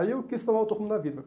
Aí eu quis.